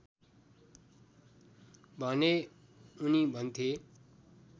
भने उनी भन्थे